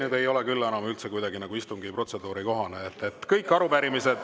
See ei ole küll enam üldse kuidagi istungi protseduuri kohane.